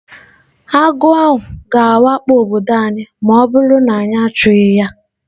Agụ ahụ ga-awakpo obodo anyị ma ọ bụrụ na anyị achụghị ya.